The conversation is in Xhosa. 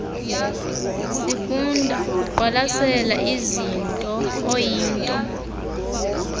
sifunda ukuqwalasela izintooyinto